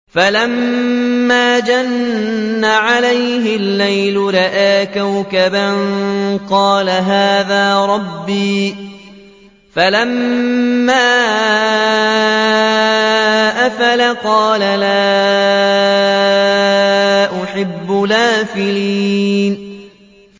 فَلَمَّا جَنَّ عَلَيْهِ اللَّيْلُ رَأَىٰ كَوْكَبًا ۖ قَالَ هَٰذَا رَبِّي ۖ فَلَمَّا أَفَلَ قَالَ لَا أُحِبُّ الْآفِلِينَ